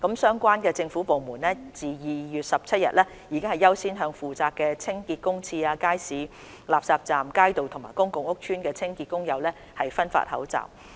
相關政府部門自2月17日起已優先向負責清潔公廁、街市、垃圾站、街道和公共屋邨的清潔工友分發口罩。